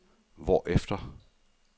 hvorefter